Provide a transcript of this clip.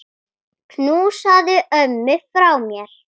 Knúsaðu ömmu frá mér.